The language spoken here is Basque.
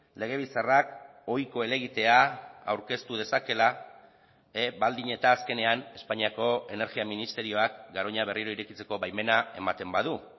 legebiltzarrak ohiko helegitea aurkeztu dezakeela baldin eta azkenean espainiako energia ministerioak garoña berriro irekitzeko baimena ematen badu